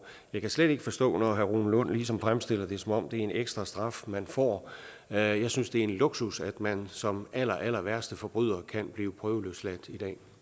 jeg kan slet ikke forstå når herre rune lund ligesom fremstiller det som om det er en ekstra straf man får jeg synes det er en luksus at man som allerallerværste forbryder kan blive prøveløsladt